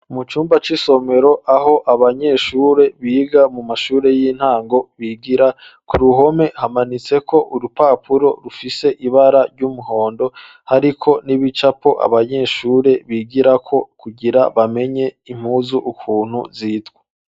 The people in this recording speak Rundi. Mu cumba c'isomero, aho abanyeshure, biga mu mashure y'intango, bigira; ku ruhome, hamanitseko urupapuro, rufise ibara ry'umuhondo, ariko n'ibicapo, abanyeshure bigirako, kugira bamenye impuzu, ukuntu zitwa.